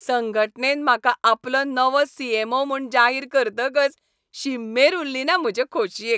संघटनेन म्हाका आपलो नवो सी. ऍम. ओ. म्हूण जाहीर करतकच शीम मेर उरलीना म्हजे खोशयेक.